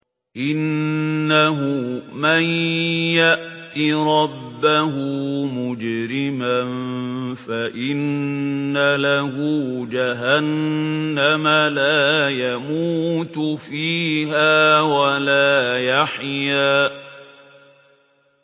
إِنَّهُ مَن يَأْتِ رَبَّهُ مُجْرِمًا فَإِنَّ لَهُ جَهَنَّمَ لَا يَمُوتُ فِيهَا وَلَا يَحْيَىٰ